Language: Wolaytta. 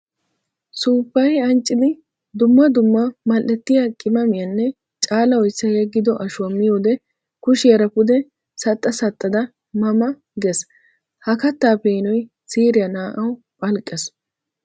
Suufayi ancciddi dumma dumma mali'ettiya qimaamiyanne caala oyssa yeggiddo ashuwa miyoode kushiyara pude saxxa saxxada ma ma gees! Ha katta peenoy siiriya naa'awu phalqqes!